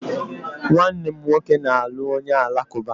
Nwanne m nwoke na-alụ onye Alakụba